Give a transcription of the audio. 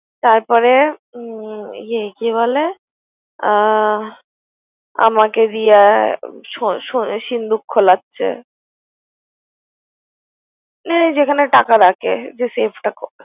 তারপরে হুম কি বলে আ~ আমাকে দিয়া সো~ সো~ সিন্দুক খুলাচ্ছে এই যেখানে টাকা রাখে ।